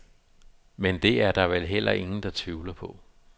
Men det er der vel heller ingen, der tvivler på.